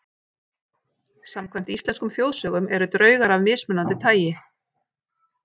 Samkvæmt íslenskum þjóðsögum eru draugar af mismunandi tagi.